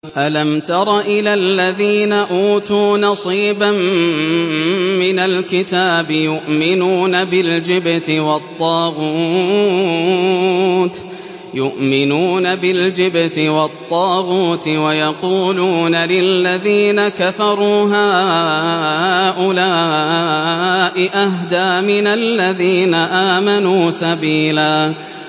أَلَمْ تَرَ إِلَى الَّذِينَ أُوتُوا نَصِيبًا مِّنَ الْكِتَابِ يُؤْمِنُونَ بِالْجِبْتِ وَالطَّاغُوتِ وَيَقُولُونَ لِلَّذِينَ كَفَرُوا هَٰؤُلَاءِ أَهْدَىٰ مِنَ الَّذِينَ آمَنُوا سَبِيلًا